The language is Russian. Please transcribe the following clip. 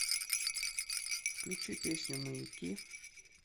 включи песню маяки